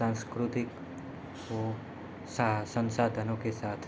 सांस्कृतिक को सा संसाधनों के साथ।